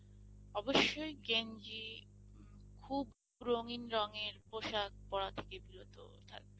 অবশ্যই গেঞ্জি খুব রঙিন রঙের পোশাক পরা থেকে বিরত থাকবে।